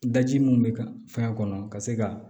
Daji mun bɛ ka fɛn kɔnɔ ka se ka